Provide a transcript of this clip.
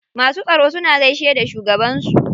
Masu tsaro suna gaishe da shugaban su.